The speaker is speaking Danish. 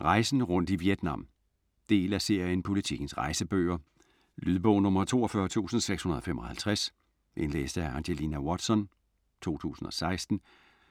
Rejsen rundt i Vietnam Del af serien Politikens rejsebøger. Lydbog 42655 Indlæst af Angelina Watson, 2016.